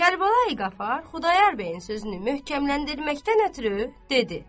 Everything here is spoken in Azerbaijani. Kərbəlayi Qafar Xudayar bəyin sözünü möhkəmləndirməkdən ötrü dedi.